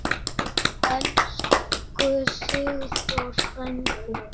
Elsku Sigþór frændi.